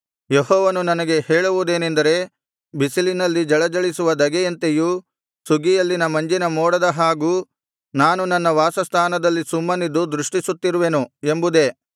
ಯೆಹೋವನು ನನಗೆ ಹೇಳುವುದೇನೆಂದರೆ ಬಿಸಿಲಿನಲ್ಲಿ ಜಳಜಳಿಸುವ ಧಗೆಯಂತೆಯೂ ಸುಗ್ಗಿಯಲ್ಲಿನ ಮಂಜಿನ ಮೋಡದ ಹಾಗೂ ನಾನು ನನ್ನ ವಾಸಸ್ಥಾನದಲ್ಲಿ ಸುಮ್ಮನಿದ್ದು ದೃಷ್ಟಿಸುತ್ತಿರುವೆನು ಎಂಬುದೇ